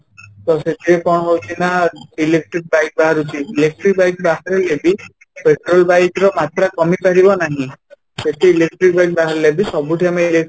ତ ସେଥିରେ କ'ଣ ହଉଛି ନା electric bike ବାହାରୁଛି, electric bike ବାହାରିଲେ ବି petrol bike ର ମାତ୍ରା କମିପାରିବ ନାହିଁ ସେଠି electric bike ବାହାରିଲେ ବି ସବୁଠି ଆମେ electric